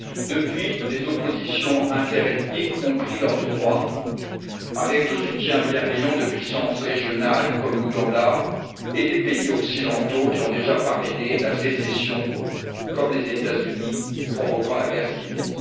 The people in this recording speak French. Depuis, les oppositions interethniques ont pris leurs droits avec le soutien bienveillant de puissances régionales, comme l'Ouganda, et des pays occidentaux, qui ont déjà parrainé la sécession, comme les États Unis, provoquant la guerre civile.